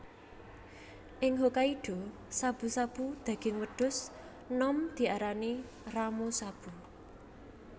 Ing Hokkaido shabu shabu daging wedhus nom diarani Ramushabu